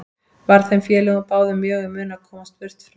Var þeim félögum báðum mjög í mun að komast burt frá